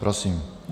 Prosím.